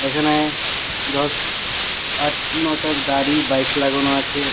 এইখানে দশ আট নটা গাড়ি বাইক লাগানো আছে।